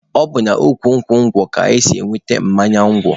Ọ bụ n'ukwu nkwụ ngwọ ka e si enweta mmanya ngwọ.